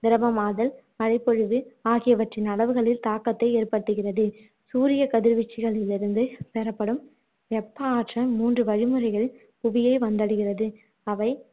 திரவமாதல் மழை பொழிவு ஆகியவற்றின் அளவுகளில் தாக்கத்தை ஏற்படுத்துகிறது சூரிய கதிர்வீச்சுகளிலிருந்து பெறப்படும் வெப்ப ஆற்றல் மூன்று வழிமுறைகளில் புவியை வந்தடைகிறது அவை